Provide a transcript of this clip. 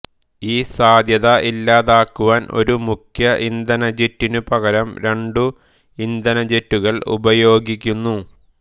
ഈ സാധ്യത ഇല്ലാതാക്കുവാൻ ഒരു മുഖ്യ ഇന്ധനജെറ്റിനു പകരം രണ്ടു ഇന്ധനജെറ്റുകൾ ഉപയോഗിക്കുന്നു